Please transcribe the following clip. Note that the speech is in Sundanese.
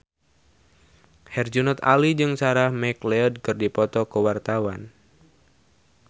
Herjunot Ali jeung Sarah McLeod keur dipoto ku wartawan